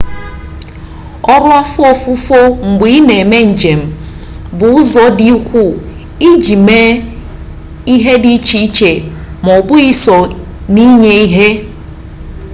ọrụ afọ ofufo mgbe i na eme njem bu uzu di ukwu iji mee ihe di iche ma obughi so n'inye ihe